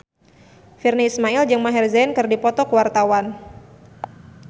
Virnie Ismail jeung Maher Zein keur dipoto ku wartawan